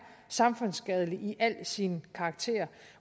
samfundsskadelig i al sin karakter